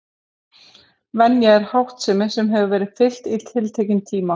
Venja er háttsemi sem hefur verið fylgt í tiltekinn tíma.